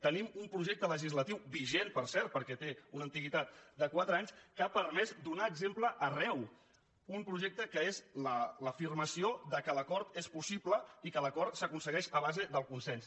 tenim un projecte legislatiu vigent per cert perquè té una antiguitat de quatre anys que ha permès donar exemple arreu un projecte que és l’afirmació que l’acord és possible i que l’acord s’aconsegueix a base del consens